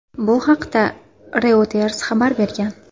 Bu haqda Reuters xabar bergan .